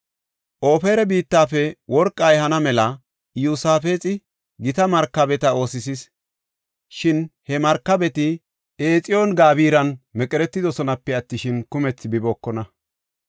Ofira biittafe worqa ehana mela Iyosaafexi gita markabeta oosisis; shin he markabeti Exiyoon-Gabiran meqeretidosonape attishin, kumthi bibookona.